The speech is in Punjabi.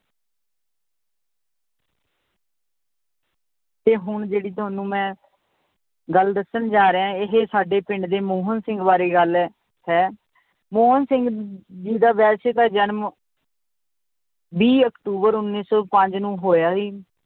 ਤੇ ਹੁਣ ਜਿਹੜੀ ਤੁਹਾਨੂੰ ਮੈਂ ਗੱਲ ਦੱਸਣ ਜਾ ਰਿਹਾਂ ਇਹ ਸਾਡੇ ਪਿੰਡ ਦੇ ਮੋਹਨ ਸਿੰਘ ਬਾਰੇ ਗੱਲ ਹੈ ਮੋਹਨ ਸਿੰਘ ਜੀ ਦਾ ਵੈਸੇ ਤਾਂ ਜਨਮ ਵੀਹ ਅਕਤੂਬਰ ਉੱਨੀ ਸੌ ਪੰਜ ਨੂੰ ਹੋਇਆ ਸੀ l